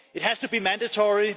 It has to be mandatory.